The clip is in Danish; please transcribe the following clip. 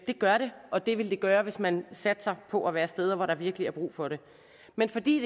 gør det og det vil det gøre hvis man satser på at være steder hvor der virkelig er brug for det men fordi